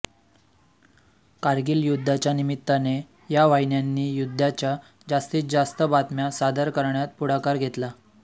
कारगिल युद्धाच्या निमित्ताने या वाहिन्यांनी युद्धाच्या जास्तीत जास्त बातम्या सादर करण्यात पुढाकार घेतला